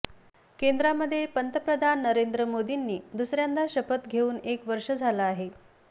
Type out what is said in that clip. केंद्रामध्ये पंतप्रधान नरेंद्र मोदींनी दुसऱ्यांदा शपथ घेऊन एक वर्ष झालं आहे